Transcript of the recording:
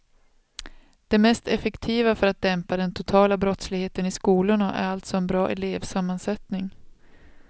Det mest effektiva för att dämpa den totala brottsligheten i skolorna är alltså en bra elevsammansättning.